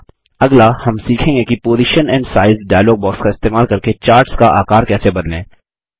अगला हम सीखेंगे कि position and size dialog box का इस्तेमाल करके चार्ट्स का आकर कैसे बदलें